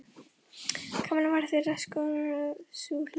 Kamilla var þeirra skoðunar að sú hlið